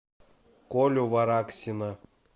колю вараксина